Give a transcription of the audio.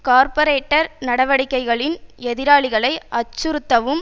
கார்ப்பொரேட்ரர் நடவடிக்கைகளின் எதிராளிகளை அச்சுறுத்தவும்